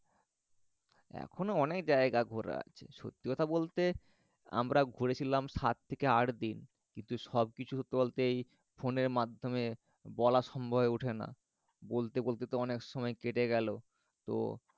এখনও অনেক জায়গা ঘোরার আছে সত্যি কথা বলতে আমরা ঘুরেছিলাম সাত থেকে আট দিন কিন্তু সব কিছু চলতেই phone এর মাধ্যমে বলা সম্ভব হয়ে ওঠে না বলতে বলতে তো অনেক সময় কেটে গেলো তো